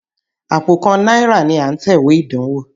Àpò kan náírà ni à ń tẹ̀wé ìdánwó.